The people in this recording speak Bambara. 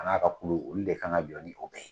A n'a ka kulu olu de kan ka jɔ ni olu ye